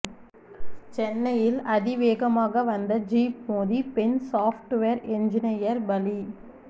சென்னையில் அதிவேகமாக வந்த ஜீப் மோதி பெண் சாஃப்ட்வேர் என்ஜினியர் பலி